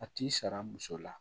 A t'i sara muso la